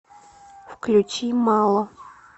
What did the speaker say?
включи мало